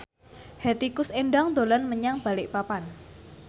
Hetty Koes Endang dolan menyang Balikpapan